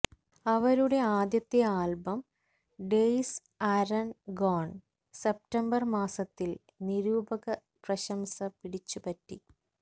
അവരുടെ ആദ്യത്തെ album days are gone September മാസത്തിൽ നിരൂപക പ്രശംസ പിടിച്ചുപറ്റി